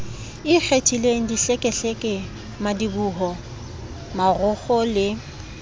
ikgethileng dihlekehleke madiboho marokgo le